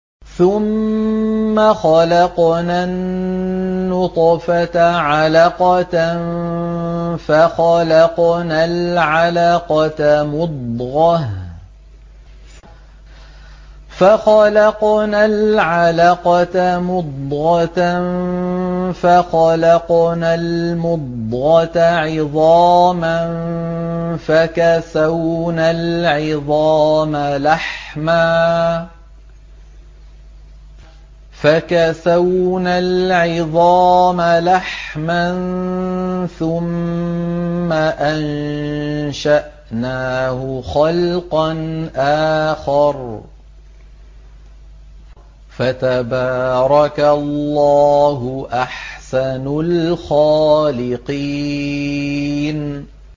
ثُمَّ خَلَقْنَا النُّطْفَةَ عَلَقَةً فَخَلَقْنَا الْعَلَقَةَ مُضْغَةً فَخَلَقْنَا الْمُضْغَةَ عِظَامًا فَكَسَوْنَا الْعِظَامَ لَحْمًا ثُمَّ أَنشَأْنَاهُ خَلْقًا آخَرَ ۚ فَتَبَارَكَ اللَّهُ أَحْسَنُ الْخَالِقِينَ